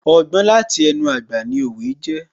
Ọgbọ́n láti ẹnu àgbà ni òwe jẹ́